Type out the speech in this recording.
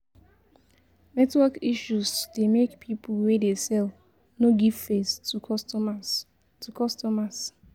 Network issuse de make pipo wey dey sell no give face to customers to customers